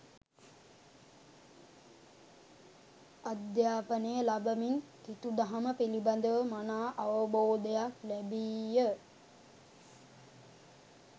අධ්‍යාපනය ලබමින් කිතු දහම පිළිබඳව මනා අවබෝධයක් ලැබීය.